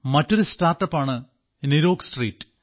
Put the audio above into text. മറ്റൊരു സ്റ്റാർട്ടപ് ആണ് നിരോഗ് സ്ട്രീറ്റ്